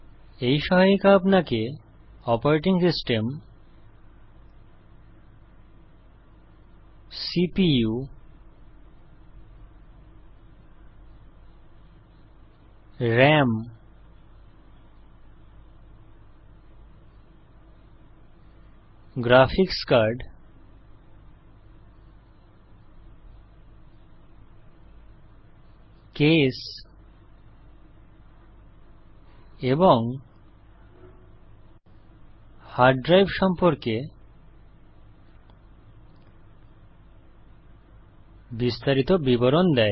এই সহায়িকা আপনাকে operating system CPU RAM graphics card case এবং হার্ড ড্রাইভ সম্পর্কে বিস্তারিত বিবরণ দেয়